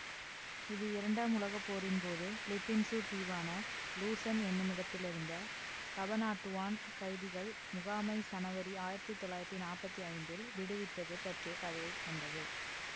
இது இரண்டாம் உலக போரின்போது பிலிப்பீன்சு தீவான லூசன் என்னுமிடத்திலிருந்த கபனாட்டுவான் கைதிகள் முகாமை சனவரி ஆயிரத்தி தொள்ளாயிரத்தி நாப்பத்தி ஐந்தில் விடுவித்தது பற்றிய கதையை கொண்டது